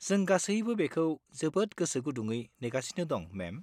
जों गासैबो बेखौ जोबोद गोसो गुदुङ नेगासिनो दं, मेम।